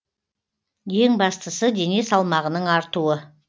ең бастысы дене салмағының артуы